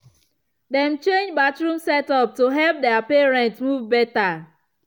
dem change bathroom setup to help their parent move better.